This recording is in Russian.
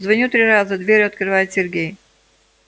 звоню три раза дверь открывает сергей